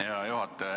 Hea juhataja!